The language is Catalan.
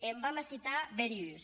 e en vam a citar bèri uns